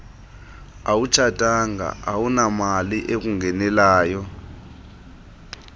awutshatanga awunamali ekungenelayo